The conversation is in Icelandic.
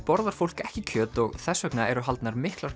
borðar fólk ekki kjöt og þess vegna eru haldnar miklar